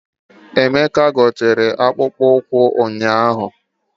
Emeka o gotere akpụkpọ ụkwụ ụnyaahụ?